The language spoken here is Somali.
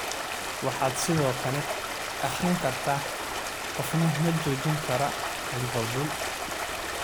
Waxaad sidoo kale akhrin kartaa: Qofna ma joojin karaa Liverpool?